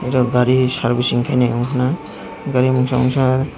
aw gari servicing khai nai unkha na gari masa masa.